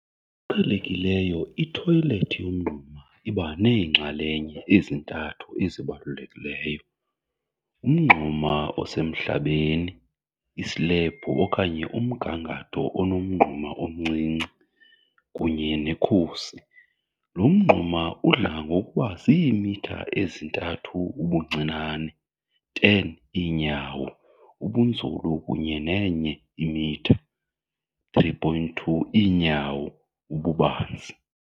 Ngokuqhelekileyo ithoyilethi yomngxuma iba neenxalenye ezintathu ezibalulekileyo- umngxuma osemhlabeni, islebhu okanye umgangatho onomngxuma omncinci, kunye nekhusi. Lo mngxuma udla ngokuba ziimitha eziyi-3 ubuncinane,10 iinyawo ubunzulu kunye ne-1 m, 3.2 iinyawo, ububanzi.